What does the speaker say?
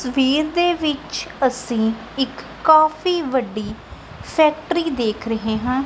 ਤਸਵੀਰ ਦੇ ਵਿੱਚ ਅਸੀਂ ਇੱਕ ਕਾਫੀ ਵੱਡੀ ਫੈਕਟਰੀ ਦੇਖ ਰਹੇ ਹਾਂ।